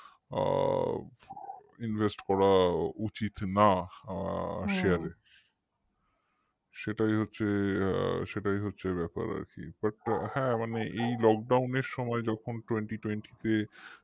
invest করা উচিত না আহ share এ সেটাই হচ্ছে সেটাই হচ্ছে ব্যাপার আর কি but হ্যা এই lockdown এর সময় যখন twentytwenty তে